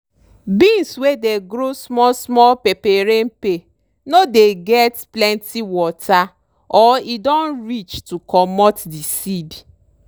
beans wey dey grow small small peperempe no dey get plenty water or e don reach to comot di seed.